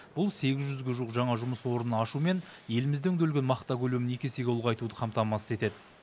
бұл сегіз жүзге жуық жаңа жұмыс орнын ашу мен елімізде өңделетін мақта көлемін екі есе ұлғайтуды қамтамасыз етеді